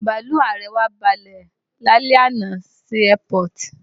Bàlúù ààrẹ wa balẹ̀ lálẹ́ àná sí airport